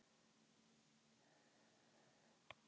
mannát á sér því greinilega ýmsar orsakir